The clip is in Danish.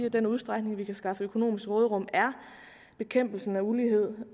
i den udstrækning vi kan skaffe økonomisk råderum er bekæmpelsen af ulighed